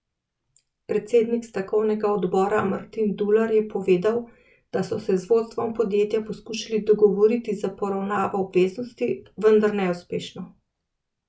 Predsednik stavkovnega odbora Martin Dular je povedal, da so se z vodstvom podjetja poskušali dogovoriti za poravnavo obveznosti, vendar neuspešno.